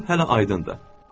Bu hələ aydındır.